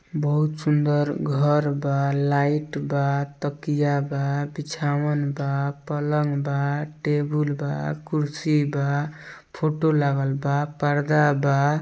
बहुत सुंदर घर बा लाईट बा तकिया बा बिछावन बा पलंग बा टेबुल बा कुर्सी बा फूटो लगल बा पर्दा बा।